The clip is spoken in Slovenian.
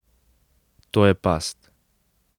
To je past.